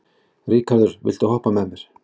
Ríkharður, viltu hoppa með mér?